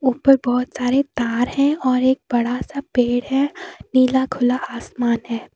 ऊपर बहुत सारे तार हैं और एक बड़ा सा पेड़ है नीला खुला आसमान है।